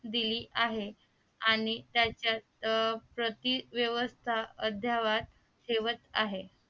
दिली आहे आणि त्याच्या प्रतिव्यवस्था अद्यावत ठेवत आहे